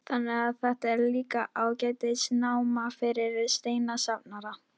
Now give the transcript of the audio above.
Þannig að þetta er líka ágætis náma fyrir steinasafnara?